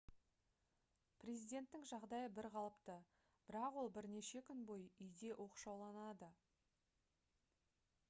президенттің жағдайы бір қалыпты бірақ ол бірнеше күн бойы үйде оқшауланады